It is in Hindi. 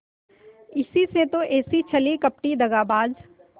इसी से तो ऐसी छली कपटी दगाबाज